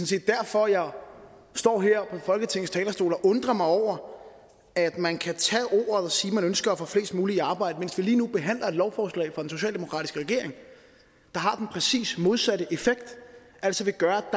set derfor jeg står her på folketingets talerstol og undrer mig over at man kan tage ordet og sige at man ønsker at få flest muligt i arbejde mens vi lige nu behandler et lovforslag fra den socialdemokratiske regering der har den præcis modsatte effekt altså vil gøre